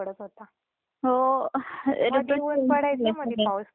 मध्ये ऊन पडायच मधेच पाऊस पडायचा ऊन पडायच पाऊस